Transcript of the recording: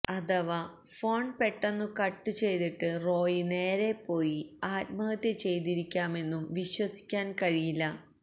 അഥവ ഫോണ് പെട്ടെന്നു കട്ട് ചെയ്തിട്ട് റോയി നേരെ പോയി ആത്മഹത്യ ചെയ്തിരിക്കാമെന്നും വിശ്വാസിക്കാന് കഴിയില്ല